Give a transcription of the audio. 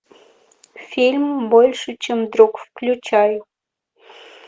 фильм больше чем друг включай